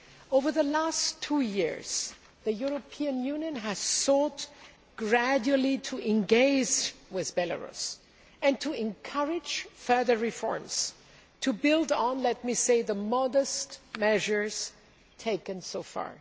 Over the last two years, the European Union has sought gradually to engage with Belarus and to encourage further reforms, to build on the, I have to say, modest measures taken so far.